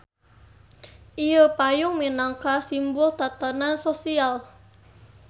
Ieu payung minangka simbul tatanan sosial.